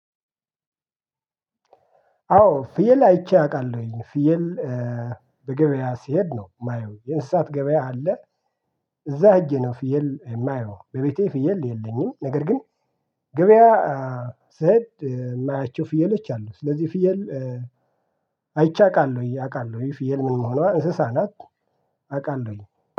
አዎ ፍየል አይቼ አውቃለሁኝ ፍየል በገበያ ሲሄድ ነው የማየው የእንሰሳት ገበያ አለ። እዛ ሄጄ ነው ፍየል የማየው በቤቴ ፍየል የለኝም። ነገር ግን ገበያ ስሄድ የማያቸው ፍየሎች አሉ። ስለዚህ ፍየል አይቼ አውቃለሁ አውቃለሁ ፍየል ምን መሆኗን እሰሳ ናት። አውቃለሁኝ